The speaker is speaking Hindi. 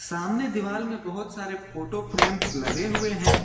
सामने दीवाल में बहुत सारे फोटो फ्रेम्स लगे हुए है।